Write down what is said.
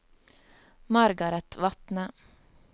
Margaret Vatne